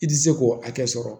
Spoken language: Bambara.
I tɛ se k'o hakɛ sɔrɔ